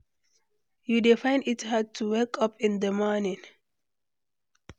You dey find it hard to wake up in di morning?